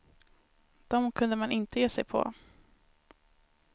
Dem kunde man inte ge sig på.